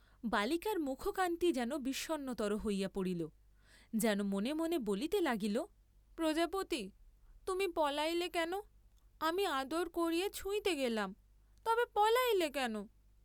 বালিকার মুখকান্তি যেন বিষণ্নতর হইয়া পড়িল, যেন মনে মনে বলিতে লাগিল প্রজাপতি, তুমি পলাইলে কেন, আমি আদর করিয়া ছুঁইতে গেলাম, তবে পলাইলে কেন?